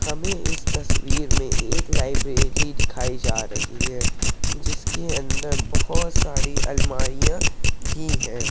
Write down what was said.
हमें इस तस्वीर मै एक लाइब्रेरी दिखाई जा रही है। जिसके अंदर बहोत सारी अलमारिया भी हैं।